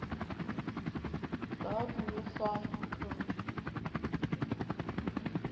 gov new form coid